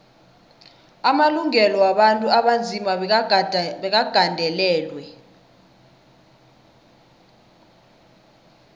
amalungelo wabantu abanzima bekagandelelwe